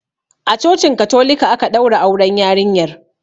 A cocin katolika aka ɗaura auren yarinyar.